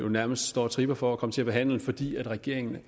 nærmest står og tripper for at komme til at behandle fordi regeringen